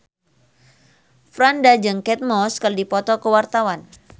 Franda jeung Kate Moss keur dipoto ku wartawan